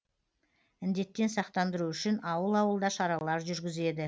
індеттен сақтандыру үшін ауыл ауылда шаралар жүргізеді